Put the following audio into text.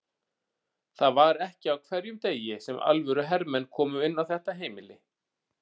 Það var ekki á hverjum degi sem alvöru hermenn komu inn á þetta heimili.